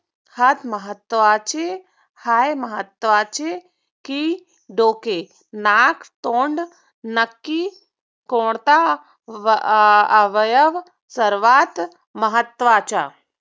हात महत्वाचे पाय महत्वाचे की डोके, नाक, तोंड नक्की कोणता अवयव सर्वात महत्वाचा.